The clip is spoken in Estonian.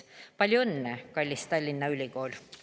Palju õnne, kallis Tallinna Ülikool!